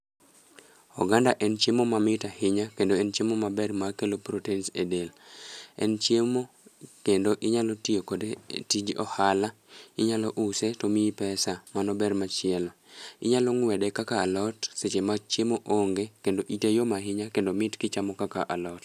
Oganda en chiemo ma mit ahinya kendo en chiemo maber ma kelo protens e del. En chiemo kendo inyalo tiyo kode tij ohala, inyalo use tomiyi pesa, mano ber machielo. Inyalo ng'wede kaka alot seche ma chiemo onge, kendo ite yom ahinya kendo mit kichamo kaka alot.